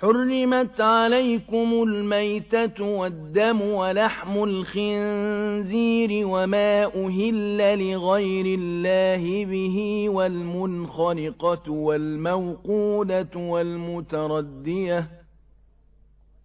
حُرِّمَتْ عَلَيْكُمُ الْمَيْتَةُ وَالدَّمُ وَلَحْمُ الْخِنزِيرِ وَمَا أُهِلَّ لِغَيْرِ اللَّهِ بِهِ وَالْمُنْخَنِقَةُ وَالْمَوْقُوذَةُ